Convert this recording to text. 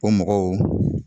O mɔgɔw